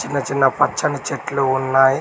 ఈడ చిన్న పచ్చని చెట్లు ఉన్నాయి.